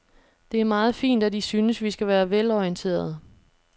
Det er meget fint, at I synes, vi skal være velorienterede.